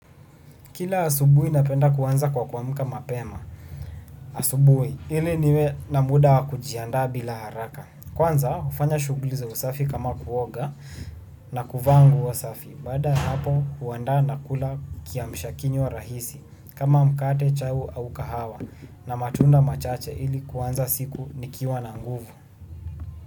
Kila asubui napenda kuanza kwa kuamka mapema. Asubui, ili niwe na muda wa kujiandaa bila haraka. Kwanza hufanya shughuli za usafi kama kuoga na kuvaa nguo safi. Baada ya hapo huandaa na kula kiamshakinywa rahisi kama mkate, chai au kahawa na matunda machache ili kuanza siku nikiwa na nguvu.